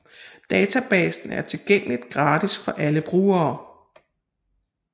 Databasen er tilgængelig gratis for alle brugere